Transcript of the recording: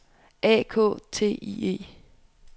A K T I E